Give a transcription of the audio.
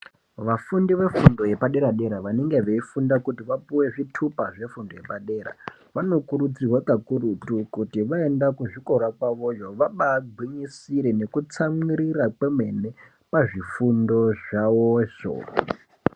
Vafundi vefundo yepadera dera vanenge veifunda kuti vapuwe zvitupa zvefundo yepadera vanokurudzirwa kakurutu kuti vaenda kuzvikora kwavoyo vabagwinyisire nekutsamwirira kwemene muzvifundo zvawozvo.